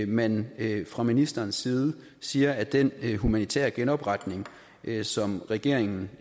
man fra ministerens side siger at den humanitære genopretning som regeringen